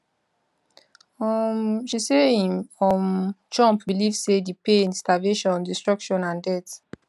um she say im um trump believe say di pain starvation destruction and death